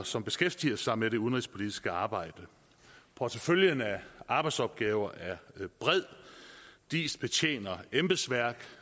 som beskæftiger sig med det udenrigspolitiske arbejde porteføljen af arbejdsopgaver er bred diis betjener embedsværket